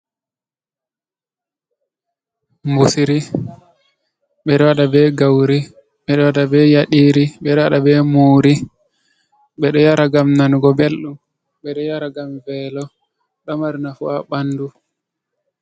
Mbusri: Ɓeɗo waɗa be gauri, ɓeɗo waɗa be yaɗiri, ɓedo waɗa be muri. Ɓeɗo yara ngam nanugo belɗum, ɓeɗo yara ngam velo ɗo mari nafu ha bandu.